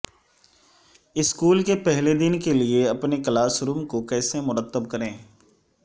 school کے پہلے دن کے لئے اپنے کلاس روم کو کیسے مرتب کریں